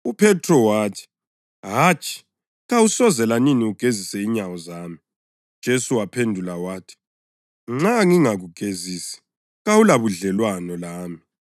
UPhethro wathi, “Hatshi, kawusoze lanini ugezise inyawo zami.” UJesu waphendula wathi, “Nxa ngingakugezisi kawulabudlelwano lami.”